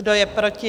Kdo je proti?